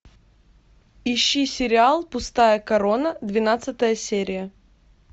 ищи сериал пустая корона двенадцатая серия